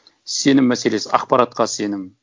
сенім мәселесі ақпаратқа сенім